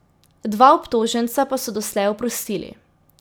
Dva obtoženca pa so doslej oprostili.